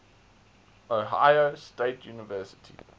ohio state university